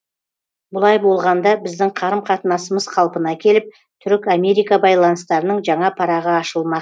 бұлай болғанда біздің қарым қатынасымыз қалпына келіп түрік америка байланыстарының жаңа парағы ашылмақ